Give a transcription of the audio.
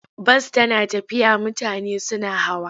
Bas tana tafiya mutane suna hawa.